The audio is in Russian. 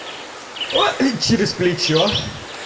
ой через плечо